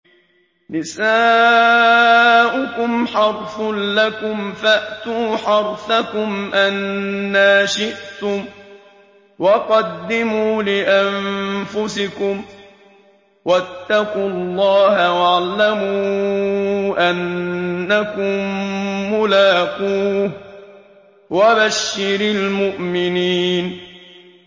نِسَاؤُكُمْ حَرْثٌ لَّكُمْ فَأْتُوا حَرْثَكُمْ أَنَّىٰ شِئْتُمْ ۖ وَقَدِّمُوا لِأَنفُسِكُمْ ۚ وَاتَّقُوا اللَّهَ وَاعْلَمُوا أَنَّكُم مُّلَاقُوهُ ۗ وَبَشِّرِ الْمُؤْمِنِينَ